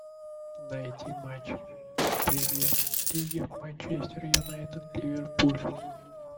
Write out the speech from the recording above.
найти матч премьер лиги манчестер юнайтед ливерпуль